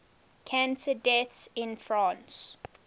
cancer deaths in france